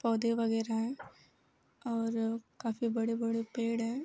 पौधे वगैरा हैं और काफी बड़े बड़े पेड़ हैं |